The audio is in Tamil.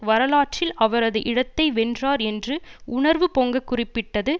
வரலாற்றில் அவரது இடத்தை வென்றார் என்று உணர்வு பொங்க குறிப்பிட்டது